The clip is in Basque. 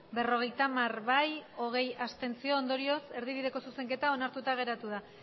berrogeita hamar abstentzioak hogei ondorioz erdibideko zuzenketa onartuta geratu da